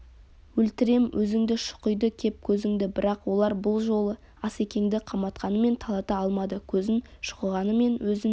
өлтірем өзіңді шұқиды кеп көзіңді бірақ олар бұл жолы асекеңді қаматқанымен талата алмады көзін шұқығанымен өзін